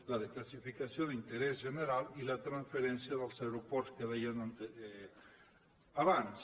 la desclassificació d’interès general i la transferència dels aeroports que dèiem abans